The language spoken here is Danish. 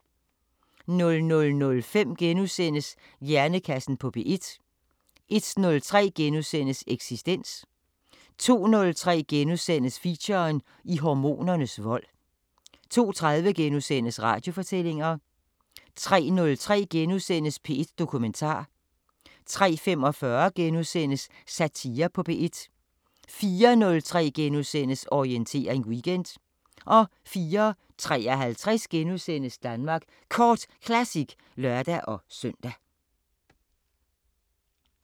00:05: Hjernekassen på P1 * 01:03: Eksistens * 02:03: Feature: I hormonernes vold * 02:30: Radiofortællinger * 03:03: P1 Dokumentar * 03:45: Satire på P1 * 04:03: Orientering Weekend * 04:53: Danmark Kort Classic *(lør-søn)